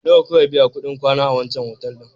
Nawa ka biya kuɗin kwana biyu a wancan otal ɗin?